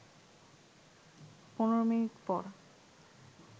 ১৫ minute পর